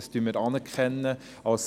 Das anerkennen wir.